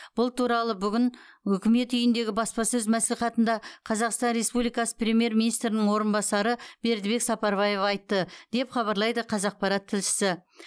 бұл туралы бүгін үкімет үйіндегі баспасөз мәслихатында қазақстан республикасы премьер министрінің орынбасары бердібек сапарбаев айтты деп хабарлайды қазақпарат тілшісі